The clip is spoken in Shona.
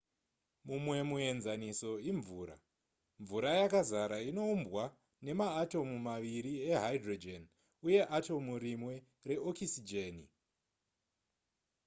mumwe muenzaniso imvura mvura yakazara inoumbwa nemaatomu maviri ehydrogen uye atomu rimwe reokisijeni